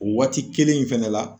O waati kelen in fɛnɛ la